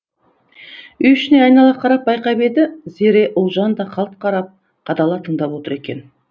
үй ішіне айнала қарап байқап еді зере ұлжан да қалт қарап қадала тыңдап отыр екен